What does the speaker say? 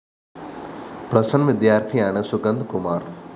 plus one വിദ്യാര്‍ത്ഥിയാണ് സുഗന്ധ്കുമാര്‍